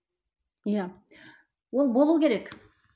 иә ол болу керек